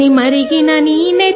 మీ రక్తం మండింది